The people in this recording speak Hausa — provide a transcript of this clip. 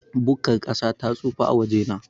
Bukkar ƙasa ta tsufa a wajena.